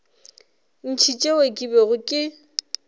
ntši tšeo ke bego ke